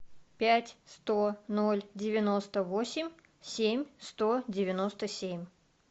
пять сто ноль девяносто восемь семь сто девяносто семь